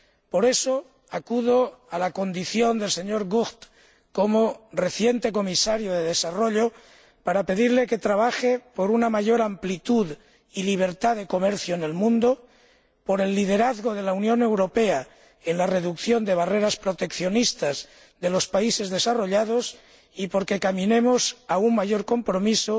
Por eso acudo al señor De Gucht, en su condición de anterior Comisario de Desarrollo, para pedirle que trabaje por una mayor amplitud y libertad de comercio en el mundo, por el liderazgo de la Unión Europea en la reducción de las barreras proteccionistas de los países desarrollados y por que caminemos hacia un mayor compromiso